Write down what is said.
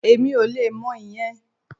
Èmi ò le mọ ìyẹn